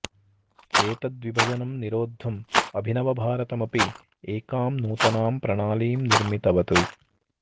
एतद् विभजनं निरोध्दुम् अभिनवभारतम् अपि एकां नूतनां प्रणालीं निर्मितवत्